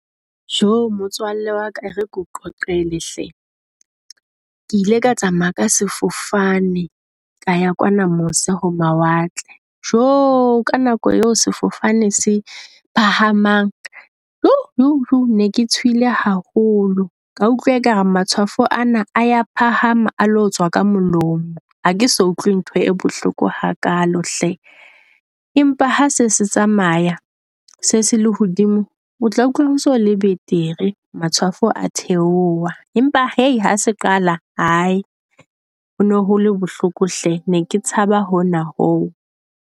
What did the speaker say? Jo motswalle waka ere keo qoqele hle, Ke ile ka tsamaya ka sefofane ka ya kwana mose ho mawatle. Joo ka nako eo sefofane se phahamang jo joo ne ke tshohile haholo. Ka utlwa ekare matshwafo ana a ya phahama a lo tswa ka molomo. Ha ke sa utlwe ntho e bohloko ha kalo hle, empa ha se se tsamaya se sele lehodimo, o tla utlwa o so le betere. Matshwafo a theoha empa hai ha se qala hae, ho no hole bohloko hle. Ne ke tshaba hona ho.